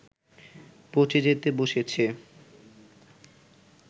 পঁচে যেতে বসেছে